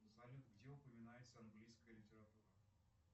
салют где упоминается английская литература